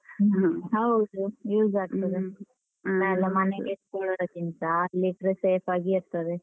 ಹ್ಮ ಹೌದು. ಇಟ್ಕೊಳದಕ್ಕಿಂತಾ ಅಲ್ಲಿಟ್ರೆ safe ಆಗ ಇರ್ತದೆ.